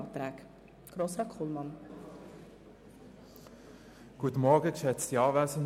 Ich gebe Grossrat Kullmann zur Begründung der beiden Anträge das Wort.